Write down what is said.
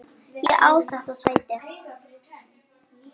Ég á þetta sæti!